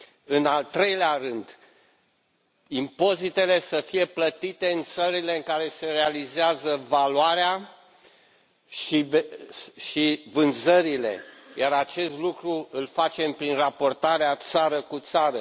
În al treilea rând, impozitele să fie plătite în țările în care se realizează valoarea și vânzările, iar acest lucru îl facem prin raportarea țară cu țară.